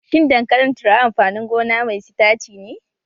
Shin dankalin turawa amfanin gona mai sitaci ne?